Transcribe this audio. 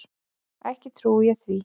Ekki trúi ég því.